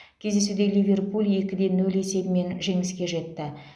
кездесуде ливерпуль екі де нөл есебімен жеңіске жетті